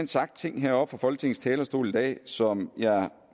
sagt ting heroppe fra folketingets talerstol i dag som jeg